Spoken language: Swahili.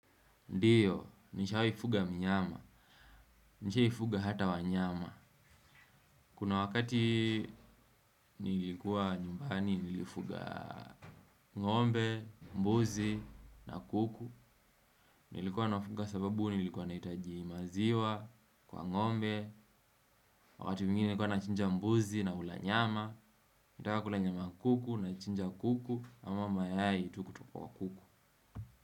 Ndio, nisha fuga mnyama. Nisha fuga hata wanyama. Kuna wakati nilikuwa nyumbani nilifuga ngombe, mbuzi, na kuku. Nilikuwa na wafuga sababu nilikuwa nahitaji maziwa kwa ngombe, wakati mwingine nikuwa na chinja mbuzi nakula nyama. Nikitaka kula nyama ya kuku naichinja kuku ama mayai tu ku toka kwa kuku.